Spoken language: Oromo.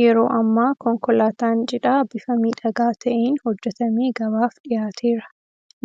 Yeroo ammaa konkolaataan Cidhaa bifa miidhagaa ta'een hojjetamee gabaaf dhiyaateera.